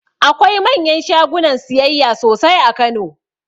Akwai manyan shagunan siyayya sosai a kano